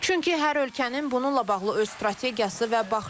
Çünki hər ölkənin bununla bağlı öz strategiyası və baxışı var.